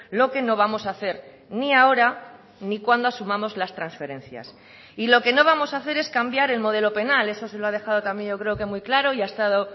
lo que no vamos a hacer ni ahora ni cuando asumamos las transferencias y lo que no vamos a hacer es cambiar el modelo penal eso se lo ha dejado también yo creo que muy claro y ha estado